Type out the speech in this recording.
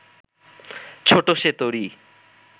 ছোট সে তরী